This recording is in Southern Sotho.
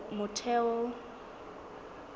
motheo